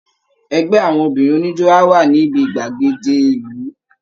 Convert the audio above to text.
Ẹgbẹ́ àwọn obìnrin oníjó á wà níbi gbàgede ìlú